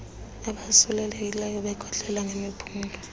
abosulelekileyo bekhohlela ngemiphunga